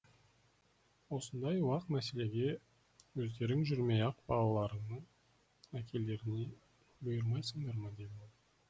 осындай уақ мәселеге өздерің жүрмей ақ балаларыңның әкелеріне бұйырмайсыңдар ма деді ол